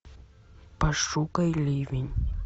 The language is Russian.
пошукай ливень